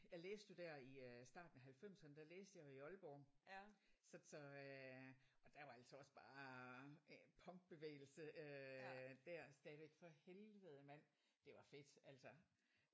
Jeg læste jo der i øh starten af halvfemserne der læste jeg jo i Aalborg. Så så og der var altså også bare punkbevægelse øh der stadigvæk for for helvede mand det var fedt altså